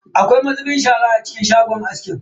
Akwai mazubin shara a cikin shagon askin?